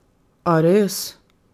A res?